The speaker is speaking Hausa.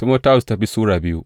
biyu Timoti Sura biyu